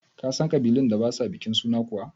Ka san ƙabilun da ba sa bikin suna kuwa?